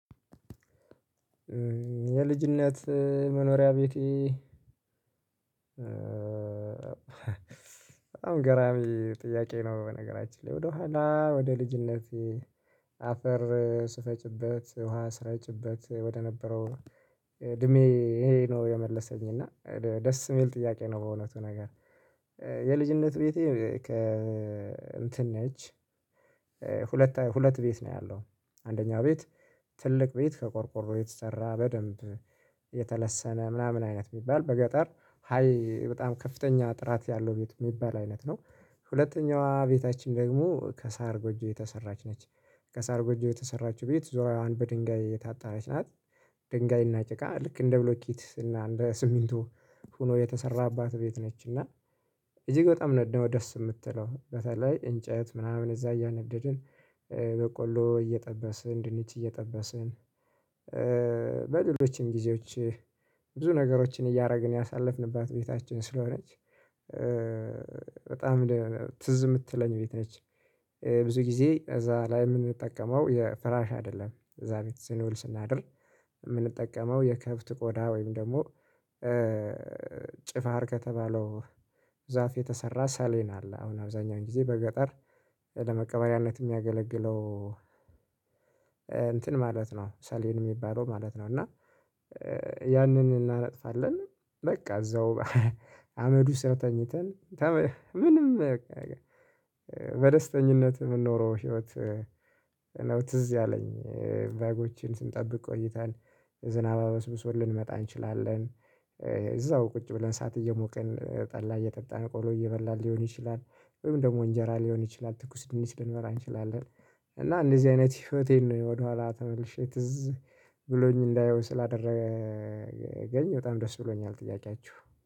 የልጅነት መኖሪያ ቤቴ በጣም ገራሚ ጥያቄ ነው። በነገራችን ላይ ወደኋላ ወደ ልጅነቴ አፈር ስፈጭበት ውሃ ስረጭበት ወደነበረው እድሜ ይሄ ነው የመለሰኝ እና ደስ የሚል ጥያቄ ነው። በእውነቱ ነገር የልጅነት ቤቴ እንትን ነች። ሁለት በሁለት ቤት ነው ያለው አንደኛው ቤት ትልቅ ቤት ከቆርቆሮ የተሰራ በደንብ የተለሰነ ምናምን አይነት የሚባል በገጠር ሃይ በጣም ከፍተኛ ጥራት ያለው ቤት የሚባል አይነት ነው። ሁለተኛዋ ቤታችን ደግሞ ከሳር ጎጆ የተሰራች ነች። ከሳር ጎጆ የተሰራችው ቤት ዙሪያዋን በድንጋይ እየታጣራች ናት። ድንጋይ እና ጭቃ ልክ እንደ ብሎኪት እና እንደ ሲሚንቶ ሆኖ የተሰራባት ቤት ነች። እና እጅግ በጣም ነው ነው ደስ የምትለው በተለይ እንጨት ምናምን እዛ እያነደድን በቆሎ እየጠበስን ድንች እየጠበስን በሌሎችም ጊዜዎች ብዙ ነገሮችን እያደረግን ያሳለፍንባት ቤታችን ስለሆነች በጣም ትዝ የምትለኝ ቤት ነች። ብዙ ጊዜ እዛ ላይ የምንጠቀመው የፍራሽ አይደለም እዛ ቤት ስንውል ስናድር የምንጠቀመው የከብት ቆዳ ወይም ደግሞ ጭፋር ከተባለው ዛፍ የተሰራ ሰሌን አለ። አሁን አብዛኛውን ጊዜ በገጠር ለመቀበሪያነት የሚያገለግለው እንትን ማለት ነው ሰሌን የሚባለው ማለት ነው። እና ያንን እናነጥፋለን በቃ እዛው አመዱ ስር ተኝተን ምንም በቃ በደስተኝነት የምንኖረው ህይወት ነው። ትዝ ያለኝ በጎችን ስንጠብቅ ቆይታን ዝናብ አበስብስዎን ልንመጣ እንችላለን። እዛው ቁጭ ብለን ሰዓት እየሞቅን ጠላ እየጠጣን ቆሎ እየበላን ሊሆን ይችላል ወይም ደግሞ እንጀራ ሊሆን ይችላል ትኩስ ድንች ልንበላ እንችላለን። እና እንደዚህ አይነት ህይወቴን ነው ወደኋላ ተመልሼ ትዝ ብሎኝ እንዳየው ስላደረገኝ በጣም ደስ ብሎኛል። ጥያቄያችሁ